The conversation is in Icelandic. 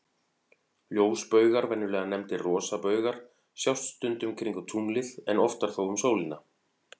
Ljósbaugar, venjulega nefndir rosabaugar, sjást stundum kringum tunglið, en oftar þó um sólina.